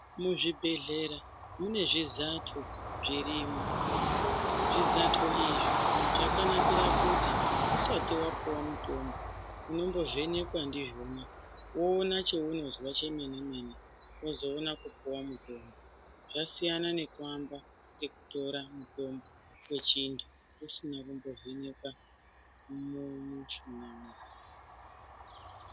Muzvibhedhlera mune zvezato zvirinwo zvizato izvi zvakanakira kuti usati wapuwa mutombo unombovhenerwa ndizvona woonekwa kuti auna chaunozwa chemene mene vozoona kupuwa mutombo zvasiyana nekuamba ngekutora mutombo wechintu isina kumbovhenerwa mumuchini.